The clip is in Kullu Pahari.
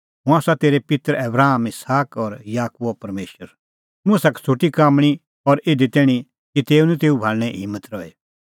हुंह आसा तेरै पित्तर आबराम इसहाक और याकूबो परमेशर मुसा का छ़ुटी काम्मणीं और इधी तैणीं कि तेऊ निं तेऊ भाल़णें हिम्मत रही